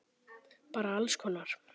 Bara alls konar!